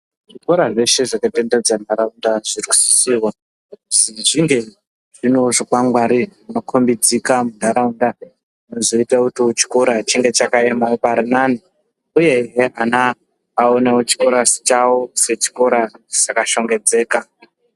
Zvikora zveshe zvakatenderedza nharaunda zvinosisirwa kuzi zvingewo zvinew zvikwangwari zvinokombidzika munharaunda zvizoitawo kuti chikora change chakaemawo parinani uye ana aonewo chikora chaiwo sechikora chakashongedzeka.